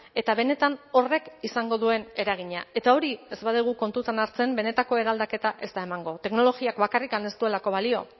eta benetan horrek izango duen eragina eta hori ez badugu kontutan hartzen benetako eraldaketa ez da emango teknologiak bakarrik ez duelako balio